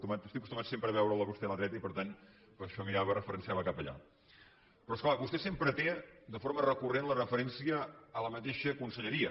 estic acostumat sempre a veure’l a vostè a la dreta i per tant per això mirava referenciava cap allà però és clar vostè sempre té de forma recurrent la referència a la mateixa conselleria